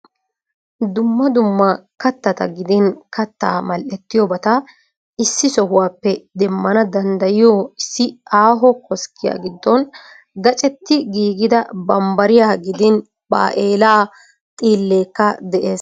Dumma dumma kattaata gidin kattaa mal'ettiyobata issi sohuwappe demmana danddayiyoo issi aaho koskkiya giddon gaacetti giigida bambbariya gidin baa'eela xiilleekka de'es.